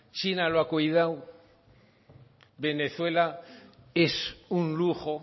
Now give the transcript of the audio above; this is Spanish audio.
china lo ha cuidado venezuela es un lujo